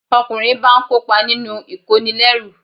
Ọkùnrin báa ń kópa nínú ìkónilẹ́rú